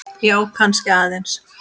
Já, kannski aðeins.